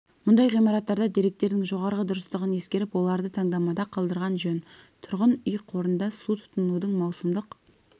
мұндай ғимараттарда деректердің жоғары дұрыстығын ескеріп оларды таңдамада қалдырған жөн тұрғын үй қорында су тұтынудың маусымдық